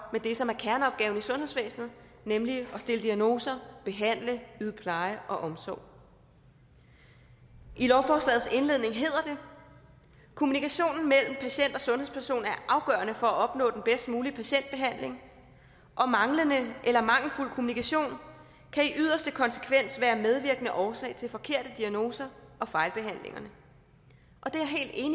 med det som er kerneopgaven i sundhedsvæsenet nemlig at stille diagnoser behandle yde pleje og omsorg i lovforslagets indledning hedder det kommunikationen mellem patient og sundhedsperson er afgørende for at opnå den bedst mulige patientbehandling og manglende eller mangelfuld kommunikation kan i yderste konsekvens være medvirkende årsag til forkerte diagnoser og fejlbehandlinger